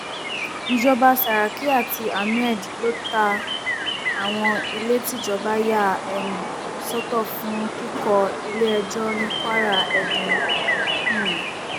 ìjọba saraki àti ahmed ló ta àwọn ilé tíjọba yà um sọtọ fún kíkọ iléẹjọ ní kwara edun um